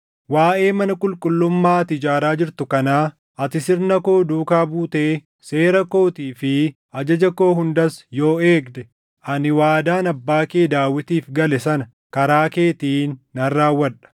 “Waaʼee mana qulqullummaa ati ijaaraa jirtu kanaa, ati sirna koo duukaa buutee seera kootii fi ajaja koo hundas yoo eegde, ani waadaan abbaa kee Daawitiif gale sana karaa keetiin nan raawwadha.